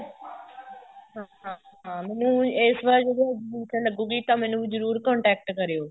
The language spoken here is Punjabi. ਹਾਂ ਹਾਂ ਮੈਨੂੰ ਇਸ ਵਾਰ ਜਦੋਂ exhibition ਲੱਗੂਗੀ ਤਾਂ ਮੈਨੂੰ ਜਰੂਰ contact ਕਰਿਓ